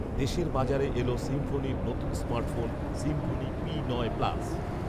দেশের বাজারে এলো সিম্ফনি’র নতুন স্মার্টফোন ‘সিম্ফনি পি নয় প্লাস’